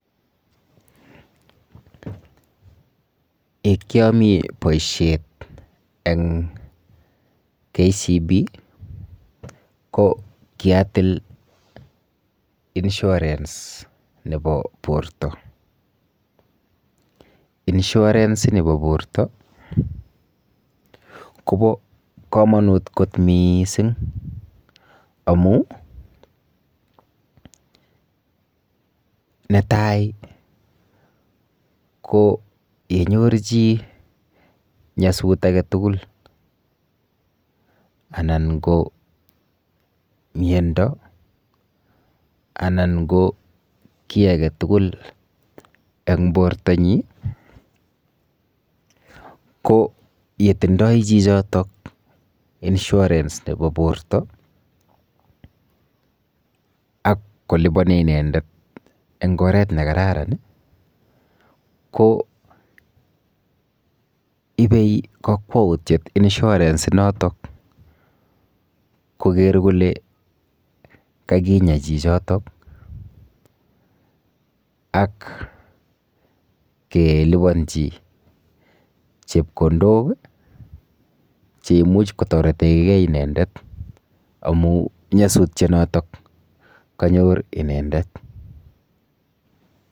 Ek yamii boishet eng' KCB ko kiatil insurance nebo borto insurance nebo borto kobo kamonut kot mising' amu netai ko yenyor chi nyosutik age tugul anan ko miyondo anan ko kii age tugul eng' bortonyi ko yetindoi chichotok insurance nebo borto ak kolipani inendet eng' oret nekararan ko ibei kakwoutiet insurance notok koker kole kakinya chichotok ak kelipanji chepkondok che imuuch kotoretengei inendet amu nyosutyet noto kanyor inendet